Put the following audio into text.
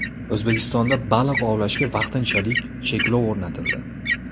O‘zbekistonda baliq ovlashga vaqtinchalik cheklov o‘rnatildi.